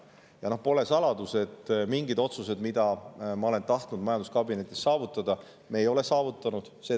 Ja pole saladus, et mingeid otsuseid, mida ma oleksin tahtnud majanduskabinetis saavutada, me ei ole saavutanud.